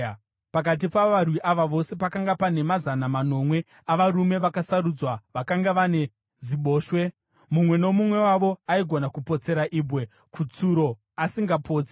Pakati pavarwi ava vose pakanga pane mazana manomwe avarume vakasarudzwa vakanga vane ziboshwe, mumwe nomumwe wavo aigona kupotsera ibwe kutsuro asingapotsi.